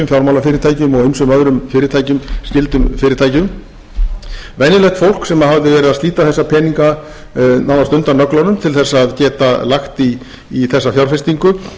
fjármálafyrirtækjum og ýmsum öðrum skyldum fyrirtækjum venjulegt fólk sem hafði verið að slíta þessa peninga nánast undan nöglunum til þess að geta lagt í þessa fjárfestingu